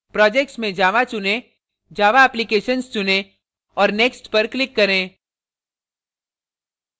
projects में java चुनें java applications चुनें और next पर click करें